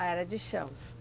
Ah, era de chão.